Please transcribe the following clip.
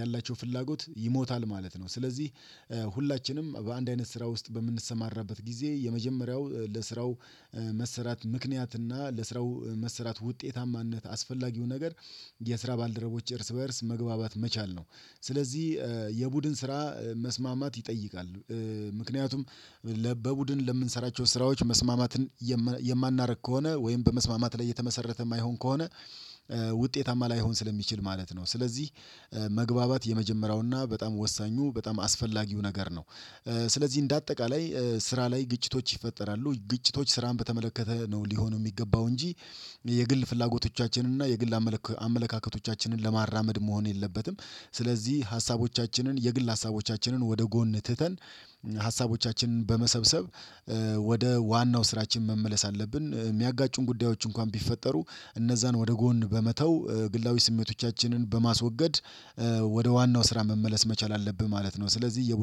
ያላቸው ፍላጎት ይሞታል ማለት ነው። ስለዚህ ሁላችንም በአንድ አይነት ስራ ውስጥ በምንሰማራበት ጊዜ የመጀመሪያው ለስራው መሰራት ምክንያት እና ለስራው መሰራት ውጤታማነት አስፈላጊው ነገር የስራ ባልደረቦች እርስ በእርስ መግባባት መቻል ነው። ስለዚህ የቡድን ስራ መስማማት ይጠይቃል። ምክንያቱም ለበቡድን ለምንሰራቸው ስራዎች መስማማትን የማናደርግ ከሆነ ወይም በመስማማት ላይ እየተመሰረተ የማይሆን ከሆነ ውጤታማ ላይሆን ስለሚችል ማለት ነው። ስለዚህ መግባባት የመጀመሪያውና በጣም ወሳኙ በጣም አስፈላጊው ነገር ነው። ስለዚህ እንደ አጠቃላይ ስራ ላይ ግጭቶች ይፈጠራሉ። ግጭቶች ስራን በተመለከተ ነው ሊሆኑ የሚገባው እንጂ የግል ፍላጎቶቻችንን እና የግል አመለካከቶቻችንን ለማራመድ መሆን የለበትም። ስለዚህ ሀሳቦቻችንን የግል ሀሳቦቻችንን ወደ ጎን ትተን ሀሳቦቻችንን በመሰብሰብ ወደ ዋናው ስራችን መመለስ አለብን። የሚያጋጩን ጉዳዮች እንኳን ቢፈጠሩ እነዛን ወደ ጎን በመተው ግላዊ ስሜቶቻችንን በማስወገድ ወደ ዋናው ስራ መመለስ መቻል አለብህ ማለት ነው። ስለዚህ